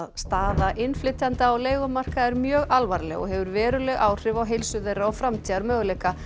staða innflytjenda á leigumarkaði er mjög alvarleg og hefur veruleg áhrif á heilsu þeirra og framtíðarmöguleika